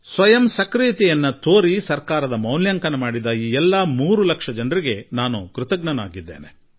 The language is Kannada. ಸ್ವಯಂ ಕ್ರಿಯಾಶೀಲತೆ ತೋರಿದ್ದಾರೆ ಸರ್ಕಾರದ ಮೌಲ್ಯಾಂಕನ ಮಾಡಿದ ಆ ಎಲ್ಲಾ 3 ಲಕ್ಷ ಜನರಿಗೆ ನಾನು ಋಣಿಯಾಗಿರುವೆ